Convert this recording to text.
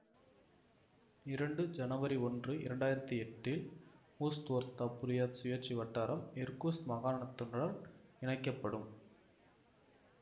இரண்டு ஜனவரி ஒன்று இரண்டாயிரத்தி எட்டு இல் ஊஸ்த்ஓர்தா புரியாத் சுயாட்சி வட்டாரம் இர்கூத்ஸ்க் மாகாணத்துடன் இணைக்க படும்